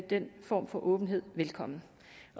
den form for åbenhed velkommen